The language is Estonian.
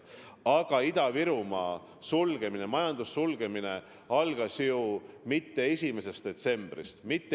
Aga Ida-Virumaa majanduse sulgemine ei alanud ju mitte 1. detsembril.